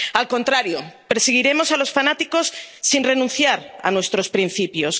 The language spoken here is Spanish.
Al contrario, perseguiremos a los fanáticos sin renunciar a nuestros principios.